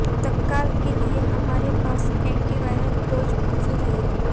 तत्काल के लिए हमारे पास एंटी वायरस डोज मौजूद हैं